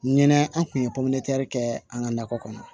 Ɲinɛ an kun ye popilɛ kɛ an ka nakɔ kɔnɔ